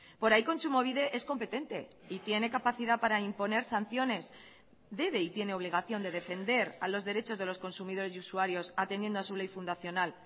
por ahí kontsumobide es competente y tiene capacidad para imponer sanciones debe y tiene obligación de defender a los derechos de los consumidores y usuarios atendiendo a su ley fundacional